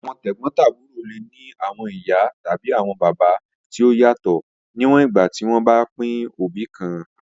Awọn tegbotaburo le ni awọn iya tabi awọn baba ti o yatọ, niwọn igba ti wọn ba pin obi kan.